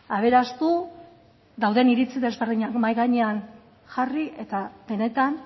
aberastu dauden iritzi desberdinak mahai gainean jarri eta benetan